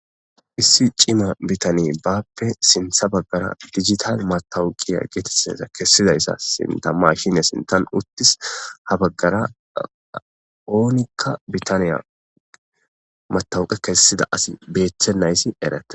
Issi cima bitanne bappe sinta dijitale matawuke kesida mashinne sinta utis ha bagara onika bitaniya matawuke kesida asi betenaysi eretes.